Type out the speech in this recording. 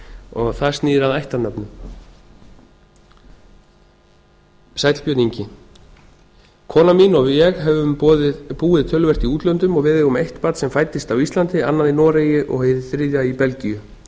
og það snýr að ættarnöfnum sæll björn ingi konan mín og ég höfum búið töluvert í útlöndum og við eigum eitt barn sem fæddist á íslandi annað í noregi og hið þriðja í belgíu